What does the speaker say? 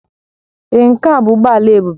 Èé, nke a bụ ụgbọ ala Ebube